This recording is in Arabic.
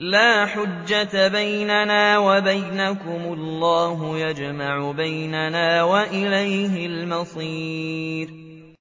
لَا حُجَّةَ بَيْنَنَا وَبَيْنَكُمُ ۖ اللَّهُ يَجْمَعُ بَيْنَنَا ۖ وَإِلَيْهِ الْمَصِيرُ